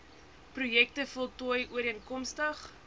projekte voltooi ooreenkomstig